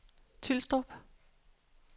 Tylstrup